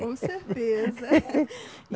Com certeza.